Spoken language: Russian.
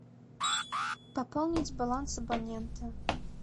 пополнить баланс абонента